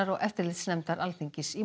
og eftirlitsnefndar Alþingis í